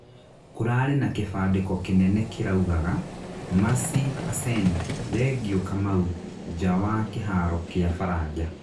kũrarĩ na kĩbandĩko kĩnene kĩraugaga, Merci Arsene ( thengiu Kamau) nja wa kĩharo kĩa baraja